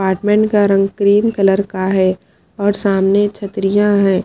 Apartment का रंग cream colour का है और सामने छत्रिया है।